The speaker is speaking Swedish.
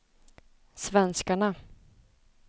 svenskarna